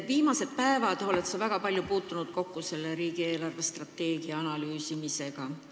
Viimastel päevadel oled sa väga palju kokku puutunud riigi eelarvestrateegia analüüsimisega.